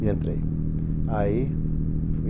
E entrei. Ai...